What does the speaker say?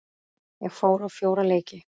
Ég fór á fjóra leiki.